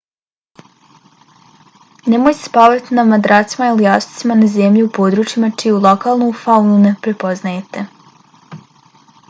nemojte spavati na madracima ili jastucima na zemlji u područjima čiju lokalnu faunu ne poznajete